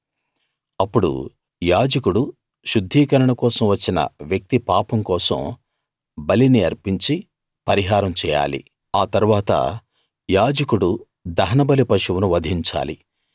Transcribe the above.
అప్పుడు యాజకుడు శుద్ధీకరణ కోసం వచ్చిన వ్యక్తి పాపం కోసం బలిని అర్పించి పరిహారం చేయాలి ఆ తరువాత యాజకుడు దహనబలి పశువును వధించాలి